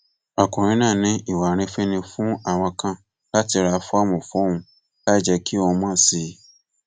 ọkùnrin náà ní ìwà àrífín ni fún àwọn kan láti ra fọọmù fóun láì jẹ kí òun mọ sí i